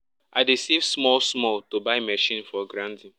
i dey save small small to buy machine for grinding